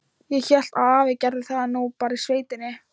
Ég hélt að afi gerði það nú bara í sveitinni.